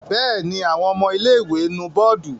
Bẹ́ẹ̀ ni, àwọn ọmọ ilé-ìwé nu bọ́ọ́dù.